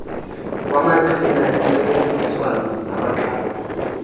kwamaqhina entsebenziswano nabaxhasi